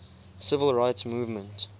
civil rights movement